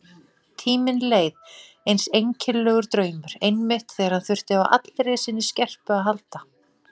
Tíminn leið eins einkennilegur draumur, einmitt þegar hann þurfti á allri sinni skerpu að halda.